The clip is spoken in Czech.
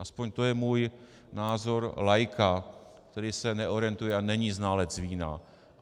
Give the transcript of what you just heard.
Aspoň to je můj názor laika, který se neorientuje a není znalec vína.